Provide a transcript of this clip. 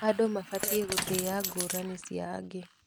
Andũ mabatiĩ gũtĩa ngũrani cia angĩ.